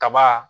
Kaba